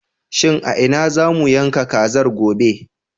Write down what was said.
Shin a ina za mu yanka kazar, gobe?